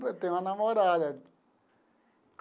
Tenho uma namorada.